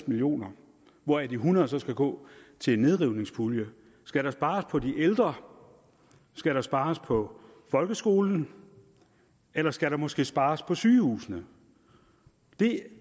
million kr hvoraf de hundrede så skal gå til en nedrivningspulje skal der spares på de ældre skal der spares på folkeskolen eller skal der måske spares på sygehusene det